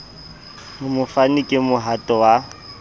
ho mofani ke mohato wa